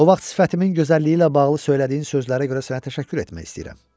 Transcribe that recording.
O vaxt sifətimin gözəlliyi ilə bağlı söylədiyin sözlərə görə sənə təşəkkür etmək istəyirəm.